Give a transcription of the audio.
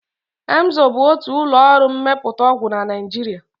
Emzor bụ otu ụlọọrụ mmepụta ọgwụ na Naịjiria